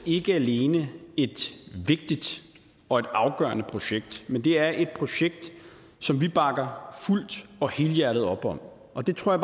ikke alene et vigtigt og afgørende projekt men det er et projekt som vi bakker fuldt og helhjertet op om og det tror